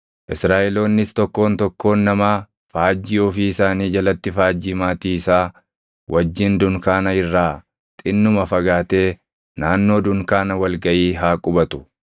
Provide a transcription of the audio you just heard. “Israaʼeloonnis tokkoon tokkoon namaa faajjii ofii isaanii jalatti faajjii maatii isaa wajjin dunkaana irraa xinnuma fagaatee naannoo dunkaana wal gaʼii haa qubatu.”